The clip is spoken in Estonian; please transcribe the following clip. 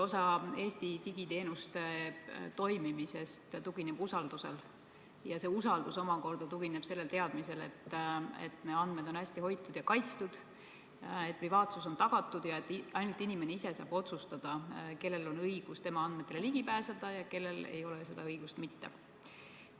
Eesti digiteenuste toimimine tugineb suuresti usaldusele ja see omakorda tugineb teadmisele, et meie andmed on hästi hoitud ja kaitstud, privaatsus on tagatud ja ainult inimene ise saab otsustada, kellel on õigus tema andmetele ligi pääseda ja kellel seda õigust ei ole.